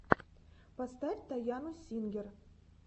поставь тайану сингер